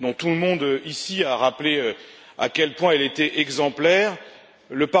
dont tout le monde ici a rappelé à quel point elle était exemplaire, le Parlement européen a toujours souhaité être solidaire de la Tunisie et, évidemment, des Tunisiens.